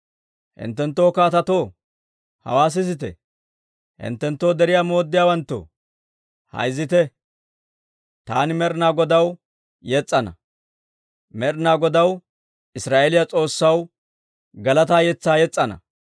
«Hinttenttoo kaatetoo, hawaa sisite! Hinttenttoo deriyaa mooddiyaawanttoo, hayzitte! Taani Med'inaa Godaw yes's'ana. Med'inaa Godaw Israa'eeliyaa S'oossaw galataa yetsaa yes's'ana.